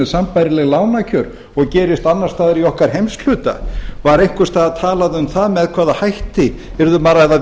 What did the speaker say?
sambærileg lánakjör og gerist annars staðar í okkar heimshluta var einhvers staðar talað um með hvaða hætti yrði um að ræða